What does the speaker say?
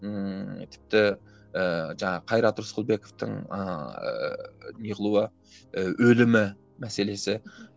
ммм тіпті ііі жаңағы қайрат рысқұлбековтың ыыы не қылуы ыыы өлімі мәселесі